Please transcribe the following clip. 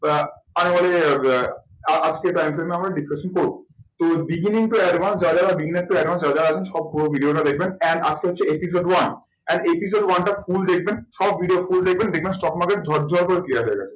আহ আজকের আমরা discussion করবো। তো beginning to advance যারা যারা beginner to advance যারা যারা আছেন সব পুরো video টা দেখবেন and up to হচ্ছে episode one and episode one টা full দেখবেন সব video full দেখবেন দেখবেন stock market ঝরঝর করে clear হয়ে গেছে।